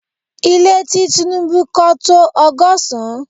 Ile ti Tinubu kọ́ to ọgọ́sán